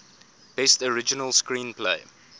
best original screenplay